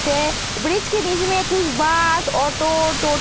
छे ब्रिज के बीच में कुछ बस ऑटो टो --